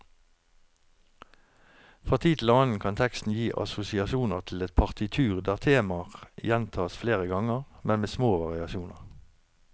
Fra tid til annen kan teksten gi assosiasjoner til et partitur der temaer gjentas flere ganger, men med små variasjoner.